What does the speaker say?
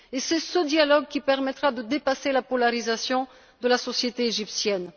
C'est ce dialogue qui permettra de dépasser la polarisation de la société égyptienne.